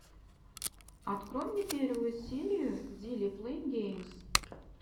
открой мне первую серию дили плэй геймс